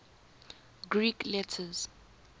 greek letters